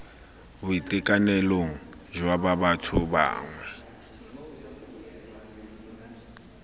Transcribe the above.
boitekanelong jwa ba batho bangwe